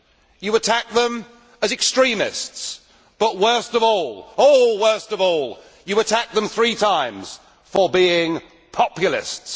You attack them as extremists, but worst of all, oh worst of all, you attack them three times for being populists.